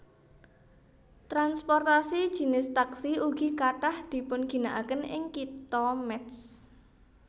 Transportasi jinis taksi ugi kathah dipunginakaken ing Kitha Métz